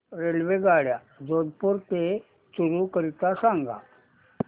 रेल्वेगाड्या जोधपुर ते चूरू करीता सांगा